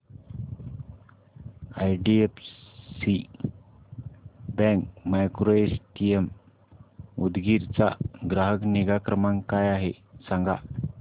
IDFC bank micro ATM Udgir चा ग्राहक निगा क्रमांक काय आहे सांगा